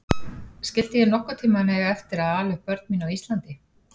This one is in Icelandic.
Skyldi ég nokkurn tíma eiga eftir að ala upp börn mín á Íslandi?